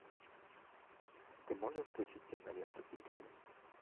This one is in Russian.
ты можешь включить киноленту пиксели